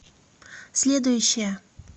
следующая